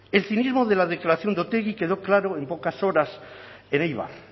el cinismo de la declaración de otegi quedó claro en pocas horas en eibar